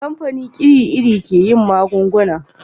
kamfani iri iri ke yin magunguna